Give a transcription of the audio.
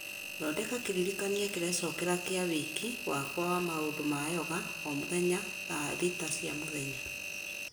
thondeka kĩririkania kĩrecokera kĩa wĩki wakwa wa maũndũ ma yoga o mũthenya thaa thita cia mũthenya